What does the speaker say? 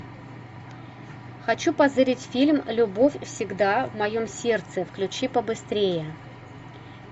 хочу позырить фильм любовь всегда в моем сердце включи побыстрее